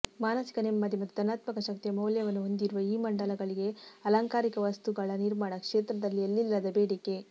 ಮಾನಸಿಕ ನೆಮ್ಮದಿ ಮತ್ತು ಧನಾತ್ಮಕ ಶಕ್ತಿಯ ಮೌಲ್ಯವನ್ನು ಹೊಂದಿರುವ ಈ ಮಂಡಲಗಳಿಗೆ ಅಲಂಕಾರಿಕ ವಸ್ತುಗಳ ನಿರ್ಮಾಣ ಕ್ಷೇತ್ರದಲ್ಲಿ ಎಲ್ಲಿಲ್ಲದ ಬೇಡಿಕೆ